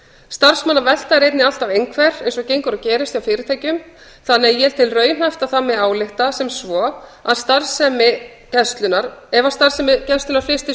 starfsmannavelta er einnig alltaf einhver eins og gengur og gerist hjá fyrirtækjum þannig að ég tel raunhæft að það megi álykta sem svo að ef starfsemi gæslunnar